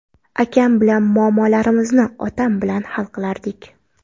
Akam bilan muammolarimizni otam bilan hal qilardik.